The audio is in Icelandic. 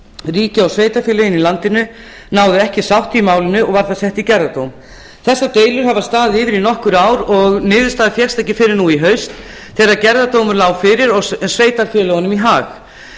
ríkið og sveitarfélögin í landinu náðu ekki sátt í málinu og var það sett í gerðardóm þessar deilur hafa staðið yfir í nokkur ár og niðurstaða fékkst ekki fyrr en nú í haust þegar gerðardómur lá fyrir og sveitarfélögunum í hag